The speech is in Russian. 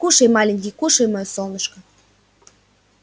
кушай маленький кушай моё солнышко